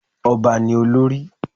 Ọba ni olórí